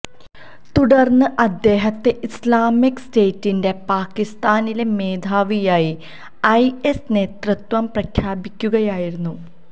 തുടര്ന്ന് അദ്ദേഹത്തെ ഇസ്ലാമിക് സ്റ്റേറ്റിന്റെ പാക്കിസ്ഥാനിലെ മേധാവിയായി ഐഎസ് നേതൃത്വം പ്രഖ്യാപിക്കുകയായിരുന്നു